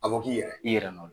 A fɔ k'i yɛrɛ. I yɛrɛ nɔ